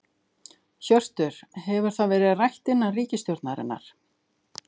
Hjörtur: Hefur það verið rætt innan ríkisstjórnarinnar?